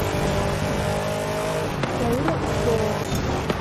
лаура ускова